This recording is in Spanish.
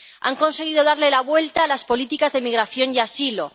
Han conseguido darle la vuelta a las políticas de migración y asilo.